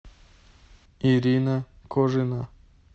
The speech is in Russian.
ирина кожина